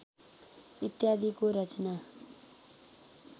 इत्यादिको रचना